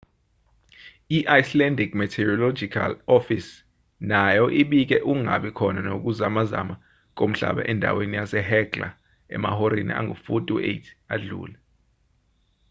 i-icelandic meteorological office nayo ibike ukungabi khona kokuzamazama komhlaba endaweni yasehekla emahoreni angu-48 adlule